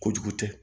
Kojugu tɛ